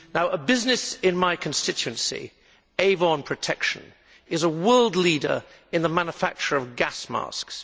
A business in my constituency, Avon Protection, is a world leader in the manufacture of gas masks.